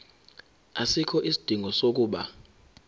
asikho isidingo sokuba